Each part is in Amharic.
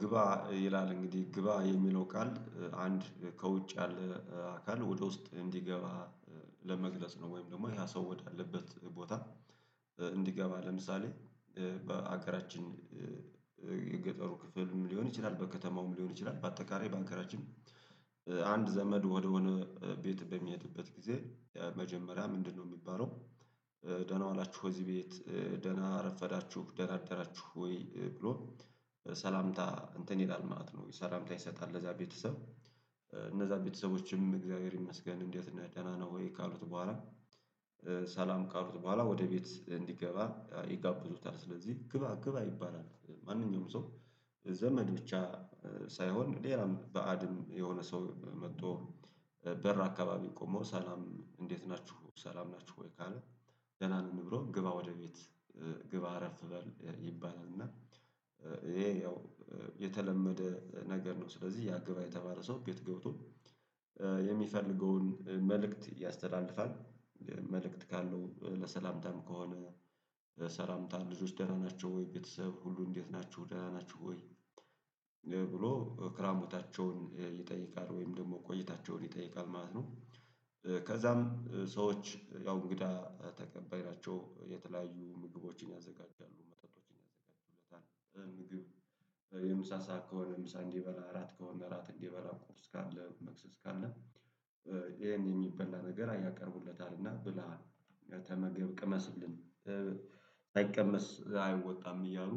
ግባ ይላል እንግዲህ ግባ የሚለው ቃል አንድ ከውጭ ያለ አካል ወደ ውስጥ እንዲገባ ለመግለጽ ነው። ወይም ደግሞ ያ ሰው ወዳለበት ቦታ። እንዲገባ ለምሳሌ በሀገራችን የገጠሩ ክፍልም ሊሆን ይችላል በከተማውም ሊሆን ይችላል በአጠቃላይ ባገራችን አንድ ዘመድ ወደሆነ ቤት በሚሄድበት ጊዜ የመጀመሪያ ምንድነው የሚባለው? ደህና ዋላችሁ ወይ እዚህ ቤት ደህና አረፈዳችሁ ደህና አደራችሁ ወይ ብሎ ሰላምታ እንትን ይላል ማለት ነው። ሰላምታ ይሰጣል ለዛ ቤተሰብ እነዛ ቤተሰቦችም እግዚአብሔር ይመስገን እንዴት ነህ ደህና ነህ ወይ ካሉት በኋላ። ሰላም ካሉት በኋላ ወደ ቤት እንዲገባ ይጋብዙታል። ስለዚህ ግባ ግባ ይባላል። ማንኛውም ሰው ዘመድ ብቻ ሳይሆን ሌላም ባእድም የሆነ ሰው መጥቶ በር አካባቢ ቆሞ ሰላም እንዴት ናችሁ ሰላም ናችሁ ወይ ካለ። ደህና ነን ብሎ ግባ ወደ ቤት ግባ አረፍ በል ይባላል። እና ይሄ ያው የተለመደ ነገር ነው። ስለዚህ ያ ግባ የተባለ ሰው ቤት ገብቶ የሚፈልገውን መልእክት ያስተላልፋል። መልእክት ካለው ለሰላምታም ከሆነ ሰላምታ ልጆች ደና ናቸው ወይ ቤተሰብ ሁሉ እንዴት ናቸው ደና ናቸው ወይ ብሎ ክራምታቸውን ይጠይቃል ወይም ደግሞ ቆይታቸውን ይጠይቃል ማለት ነው። ከዛም ሰዎች ያው እንግዳ ተቀባይ ናቸው የተለያዩ ምግቦችን ያዘጋጃሉ መጠጦችን። ያዘጋጁለታል ምግብ የምሳ ሰዓት ከሆነ ምሳ እንዲበላ እራት ከሆነ እራት እንዲበላ ቁርስ ካለ መክሰስ ካለ። ይሄን የሚበላ ነገር ያቀርቡለታልና ብላ ተመገብ ቅመስልን ሳይቀመስ አይወጣም እያሉ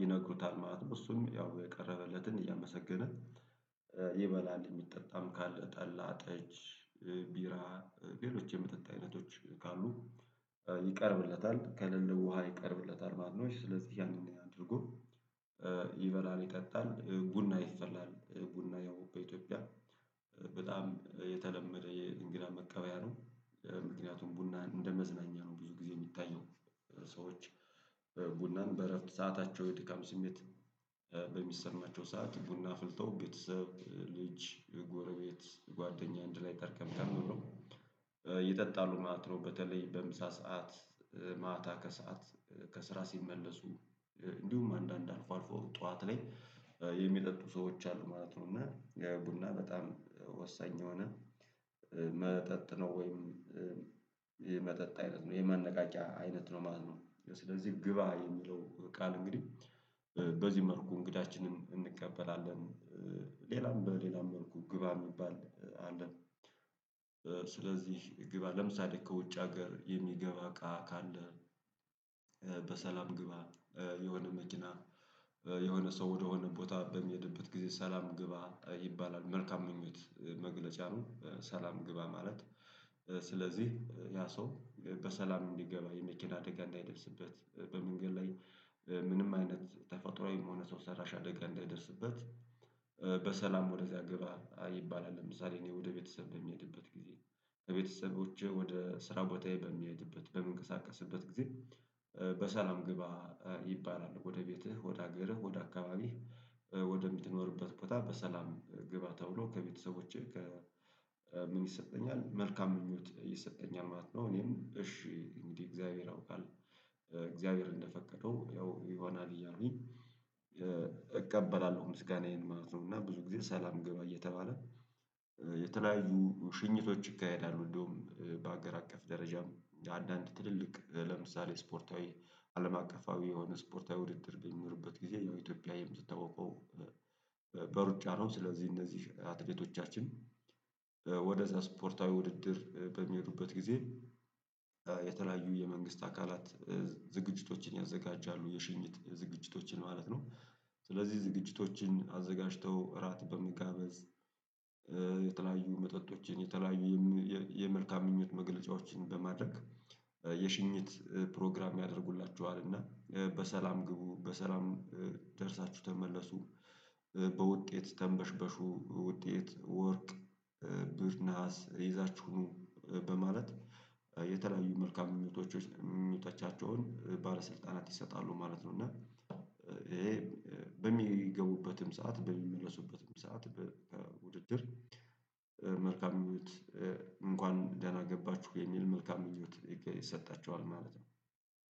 ይነግሩታል ማለት ነው። እሱም ያው የቀረበለትን እያመሰገነ ይበላል የሚጠጣም ካለ ጠላ ጠጅ ቢራ ሌሎች የመጠጥ አይነቶች ካሉ ይቀርብለታል። ከለለ ውሃ ይቀርብለታል። ማነው ስለዚህ ያንን አድርጎ ይበላል ይጠጣል ቡና ይፈላል ቡና ያው በኢትዮጵያ በጣም የተለመደ የእንግዳ መቀበያ ነው። ምክንያቱም ቡና እንደመዝናኛ ነው ብዙ ጊዜ የሚታየው። ሰዎች ቡናን በእረፍት ሰአታቸው የድካም ስሜት በሚሰማቸው ሰዓት ቡና አፍልተው ቤተሰብ ልጅ ጎረቤት ጓደኛ አንድ ላይ ጠርቀምቀም ብለው ይጠጣሉ ማለት ነው። በተለይ በምሳ ሰዓት ማታ ከሰአት ከስራ ሲመለሱ እንዲሁም አንዳንድ አልፎ አልፎ ጠዋት ላይ የሚጠጡ ሰዎች አሉ ማለት ነው። እና ቡና በጣም ወሳኝ የሆነ መጠጥ ነው። ወይም የመጠጥ አይነት ነው ይሄ ማነቃቂያ አይነት ነው ማለት ነው። ስለዚህ ግባ የሚለው ቃል እንግዲህ በዚህ መልኩ እንግዳችንን እንቀበላለን። ሌላም በሌላም መልኩ ግባ የሚባል አለን። ስለዚህ ግባ ለምሳሌ ከውጭ ሀገር የሚገባ እቃ ካለ። በሰላም ግባ የሆነ መኪና የሆነ ሰው ወደሆነ ቦታ በሚሄድበት ጊዜ ሰላም ግባ ይባላል መልካም ምኞት መግለጫ ነው። ሰላም ግባ ማለት ስለዚህ ያ ሰው በሰላም እንዲገባ የመኪና አደጋ እንዳይደርስበት በመንገድ ላይ ምንም አይነት ተፈጥሮአዊም ሆነ ሰው ሰራሽ አደጋ እንዳይደርስበት። ወደዚያ ግባ ይባላል። ለምሳሌ እኔ ወደ ቤተሰብ በምሄድበት ጊዜ ከቤተሰቦቼ ወደ ስራ ቦታዬ በምሄድበት በምንቀሳቀስበት ጊዜ በሰላም ግባ ይባላል ወደ ቤትህ ወደ ሀገርህ ወደ አካባቢህ ወደምትኖርበት ቦታ በሰላም ግባ ተብሎ ከቤተሰቦቼ ከምን ይሰጠኛል መልካም ምኞት ይሰጠኛል ማለት ነው። እኔም እሺ እንግዲህ እግዚአብሔር ያውቃል እግዚአብሔር እንደፈቀደው ያው ይሆናል እያልኩኝ እቀበላለሁ ምስጋናዬን ማለት ነው። እና ብዙ ጊዜ ሰላም ገባ እየተባለ የተለያዩ ሽኝቶች ይካሄዳሉ። እንደውም በአገር አቀፍ ደረጃም አንዳንድ ትልልቅ ለምሳሌ ስፖርታዊ አለም አቀፋዊ የሆነ ስፖርታዊ ውድድር በሚኖርበት ጊዜ ያው ኢትዮጵያዊም የምትታውቀው በሩጫ ነው። ስለዚህ እነዚህ አትሌቶቻችን ወደ ዛ ስፖርታዊ ውድድር በሚሄዱበት ጊዜ የተለያዩ የመንግስት አካላት ዝግጅቶችን ያዘጋጃሉ የሽኝት ዝግጅቶችን ማለት ነው። ስለዚህ ዝግጅቶችን አዘጋጅተው እራት በመጋበዝ የተለያዩ መጠጦችን የተለያዩ የመልካም ምኞት መግለጫዎችን በማድረግ የሽኝት ፕሮግራም ያደርጉላችኋል። እና በሰላም ግቡ በሰላም ደርሳችሁ ተመለሱ በውጤት ተንበሽበሹ ውጤት ወርቅ ብር ነሀስ ይዛችሁ ኑ በማለት የተለያዩ መልካም ምኞታት ምኞቶቻቸውን ባለስልጣናት ይሰጣሉ ማለት ነው። እና ይሄ በሚገቡበትም ሰዓት በሚመለሱበትም ሰዓት በውድድር መልካም ምኞት እንኳን ደህና ገባችሁ የሚል መልካም ምኞት ይሰጣችኋል ማለት ነው